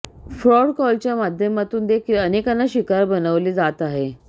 fraud कॉलच्या माध्यमातून देखील अनेकांना शिकार बनवले जात आहे